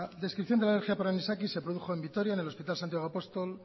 descripción de la alergia por anisakis se produjo en vitoria en el hospital santiago apóstol